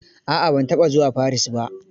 A'a ban taɓa zuwa Paris ba.